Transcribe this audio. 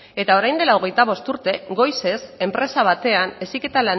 eta orain dela hogeita bost urte goizez enpresa batean heziketa